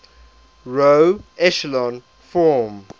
row echelon form